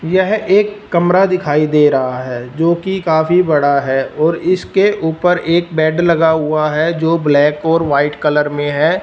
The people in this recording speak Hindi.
यह एक कमरा दिखाई दे रहा है जोकि काफी बड़ा है और इसके ऊपर एक बेड लगा हुआ है जो ब्लैक और वाइट कलर में है।